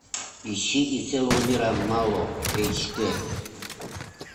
ищи и целого мира мало эйч ди